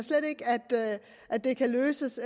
at det kan løses